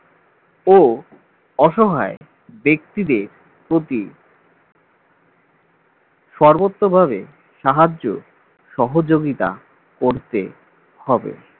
ও অসহায় ব্যক্তিদের প্রতি সর্বত্রভাবে সাহায্য সহযোগিতা করতে হবে।